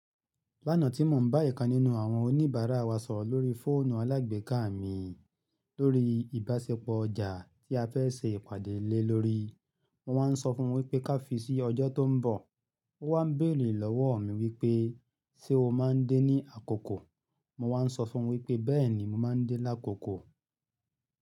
Lánàá tí mò ń bá ìkan nínú àwọn oníbàárà wa sọ̀rọ̀ lórí fóònù alágbèéká mi lórí ìbáṣepọ̀ ọjà tí a fẹ́ ṣe ìpàdé lé lórí, mo wáa ń sọ fún wípé ká fi sí ọjọ́ tó ń bọ̀. Ó wá ń béèrè lọ́wọ́ mi wípé ṣe o máa ń dé ní àkókò? Mo wáa ń sọ fún wípé bẹ́ẹ̀ni mo máa ń dé lákòókò.